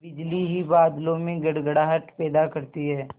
बिजली ही बादलों में गड़गड़ाहट पैदा करती है